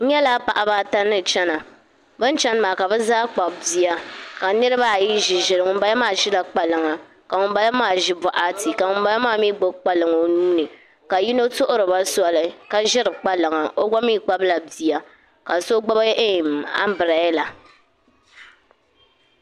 N nyɛla paɣaba ata ni chɛna ka bi zaa kpabi bihi ka niraba ayi ʒi ʒili ŋunbala maa ʒila kpalaŋa ka ŋunbala maa ʒi boɣati ka ŋunbala maa mii gbubi kpalaŋ o nuuni ka yino tuhuriba soli ka ʒiri kpalaŋa o gba mii kpabila bia ka so gbubi anbirɛla